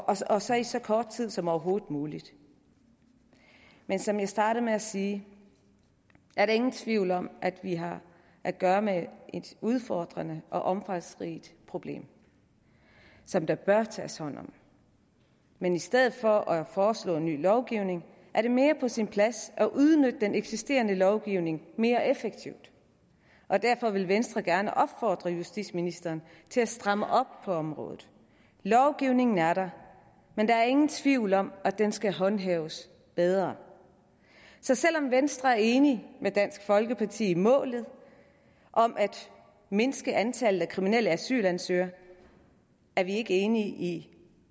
og så i så kort tid som overhovedet muligt men som jeg startede med at sige er der ingen tvivl om at vi har at gøre med et udfordrende og omfangsrigt problem som der bør tages hånd om men i stedet for at foreslå ny lovgivning er det mere på sin plads at udnytte den eksisterende lovgivning mere effektivt og derfor vil venstre gerne opfordre justitsministeren til at stramme op på området lovgivningen er der men der er ingen tvivl om at den skal håndhæves bedre så selv om venstre er enig med dansk folkeparti i målet om at mindske antallet af kriminelle asylansøgere er vi ikke enige i